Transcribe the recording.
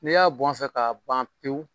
N'i y'a bɔn a fɛ ka ban pewu